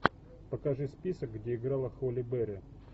покажи список где играла холли берри